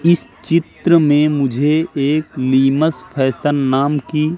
इस चित्र में मुझे एक निमस फैशन नाम की--